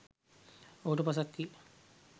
ඔහුට පසක් විය